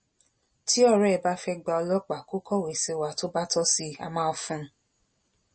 tí ọrẹ ẹ bá fẹẹ gba ọlọpàá kó kọwé sí wa tó bá tọ sí i á máa fún un